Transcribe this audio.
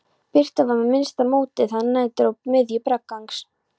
Birta var með minnsta móti þegar nær dró miðju braggans.